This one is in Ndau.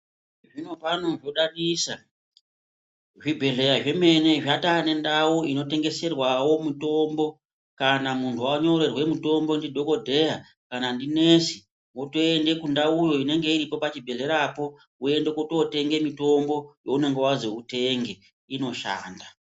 Zvinopano zvodadisa. Zvibhedhlera zvemene zvataane ndau inotengeserwawo mutombo. Kana munhu wanyorerwa mutombo ndidhokodheya kana ndinesi wotoenda kundau inenge iripo pachibhedhlerapo woende kutootenge mitombo waunenge wazwi utenge, inoshanda.